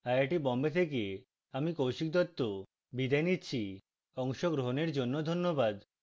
I I T Bombay থেকে আমি কৌশিক দত্ত বিদায় নিচ্ছি অংশগ্রহনের জন্য ধন্যবাদ